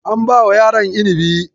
An bawa yaran inibi.